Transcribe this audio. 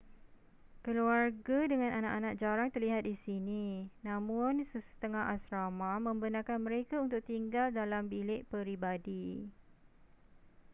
keluarga dengan anak-anak jarang terlihat di sini namun sesetengah asrama membenarkan mereka untuk tinggal dalam bilik peribadi